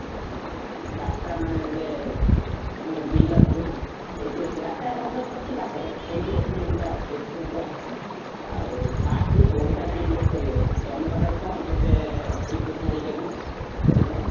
ଉଁ ରାସ୍ତା ମାନେ ଗୋଟେ ଉଁ ଗୋଟେ ବିଲଟା ବୁଝିଲ, ସେଇଠି ଅଛି ରାସ୍ତା ଅବଶ୍ୟ ଅଛି ପାଖରେ ସେଇଠି ଅଛି ଜମିଟା ଆଉ ସେଇଠି ହବ, ଆଉ first ବି ପଇସାଟା invest କରିଆର ଅଛି, ତମ ପାଖରେ କଣ କେତେ ଅଛି ପଇସା ହେଇପାରିବ କେତେ ଟଙ୍କା?